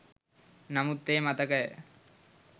නමුත් ඒ මතකය